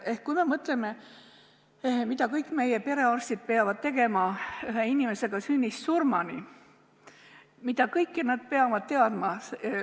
Ehk mõtleme, mida kõik meie perearstid peavad tegema ühe inimesega sünnist surmani, mida kõike nad peavad temast teadma.